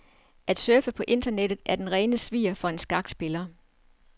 At surfe på internettet er den rene svir for en skakspiller.